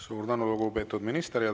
Suur tänu, lugupeetud minister!